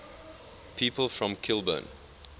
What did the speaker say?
people from kilburn